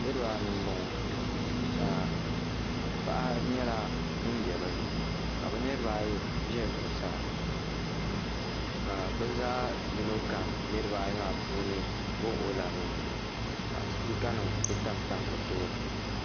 niriba anu m-bɔŋɔ ka paɣa nyɛla ŋun be bɛ ni ka bɛ niriba ayi ʒe zuɣusaa ka bɛ zaa yino kam niriba ayi maa puuni wuɣi wuɣi la bɛ nuhi ka sipikanima kuli tam tam bɛ tooni.